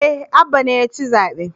Eh Abba ne yaci zaɓe